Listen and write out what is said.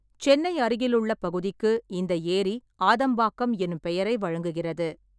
சென்னை அருகிலுள்ள பகுதிக்கு இந்த ஏரி ஆதம்பாக்கம் எனும் பெயரை வழங்குகிறது.